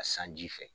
A sanji fɛ